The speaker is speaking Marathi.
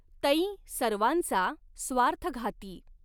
तैं सर्वांचा स्वार्थघाती।